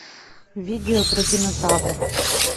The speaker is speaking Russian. видео про динозавров